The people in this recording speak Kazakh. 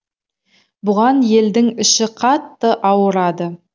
бұған елдің іші қатты ауырады